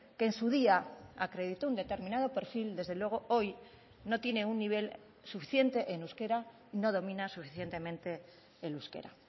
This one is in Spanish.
que en su día acreditó un determinado perfil desde luego hoy no tiene un nivel suficiente en euskera no domina suficientemente el euskera